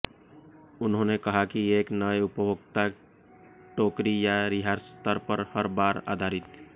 उन्होंने कहा कि एक नए उपभोक्ता टोकरी या रिहाई स्तर पर हर बार आधारित